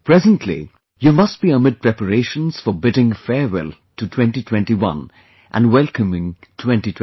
Presently, you must be amid preparations for bidding farewell to 2021 and welcoming 2022